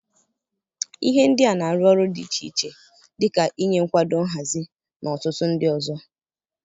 Ihe ndị a na-arụ ọrụ dị iche iche dị ka ịnye nkwado nhazi, na ọtụtụ ndị ọzọ.